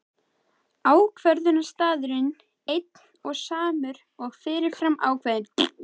Ákvörðunarstaðurinn einn og samur og fyrirfram ákveðinn.